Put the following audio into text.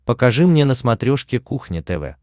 покажи мне на смотрешке кухня тв